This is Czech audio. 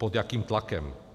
Pod jakým tlakem?